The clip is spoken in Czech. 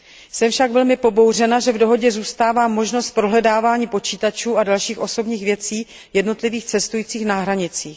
Jsem však velmi pobouřena, že v dohodě zůstává možnost prohledávání počítačů a dalších osobních věcí jednotlivých cestujících na hranicích.